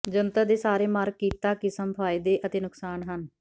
ਜੰਤਰ ਦੇ ਸਾਰੇ ਮਾਰਕ ਕੀਤਾ ਕਿਸਮ ਫ਼ਾਇਦੇ ਅਤੇ ਨੁਕਸਾਨ ਹਨ